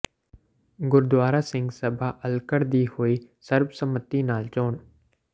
ਗੁਰਦੁਆਰਾ ਸਿੰਘ ਸਭਾ ਅੱਲਕਣ ਦੀ ਹੋਈ ਸਰਬਸੰਮਤੀ ਨਾਲ ਚੋਣ